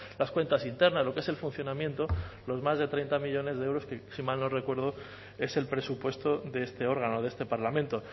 las cuentas internas lo que es el funcionamiento los más de treinta millónes de euros que si mal no recuerdo es el presupuesto de este órgano de este parlamento